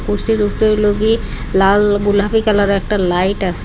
উপরে লাল ও গোলাপি কালারের একটা লাইট আসে।